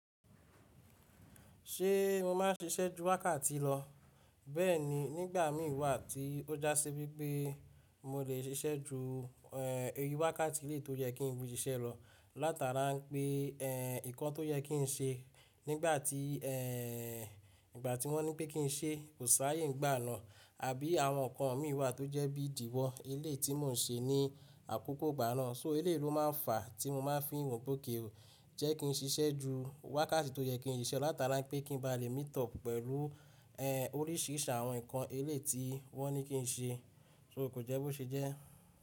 Ṣé mo máa ń ṣiṣẹ́ ju wákàtí lọ? Bẹ́ẹ̀ni, nígbà mí wá tí ó já sí wípé mo lè ṣiṣẹ́ ju, wákàtí ilé tó yẹ kí n bú iṣẹ́ lọ látara pé, eh, nǹkan tó yẹ kí n ṣe nígbà tí, eh, ìgbà tí wọ́n ní pé kí n ṣe kò sáayè nígbà náà àbí àwọn ǹkan mì wá tó jẹ́ bí ìdíwọ́ ilé tí mò ń ṣe ní àkókò ìgbà náà, so eleyiló máa ń fa tí mo máa ń fi wọ̀ pe òkay ò. Jẹ́ kí n ṣiṣẹ́ ju wákàtí tó yẹ kí n ṣe lọ látara pé kí n ba lè meet up pẹ̀lú, eh, oríṣìíríṣ àwọn ǹkan eléèti wọ́n ní kí n ṣe, so kò jẹ́ bó ṣe jẹ́.